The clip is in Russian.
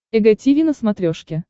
эг тиви на смотрешке